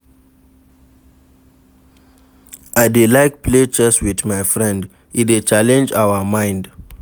I dey like play chess wit my friend, e dey challenge our mind.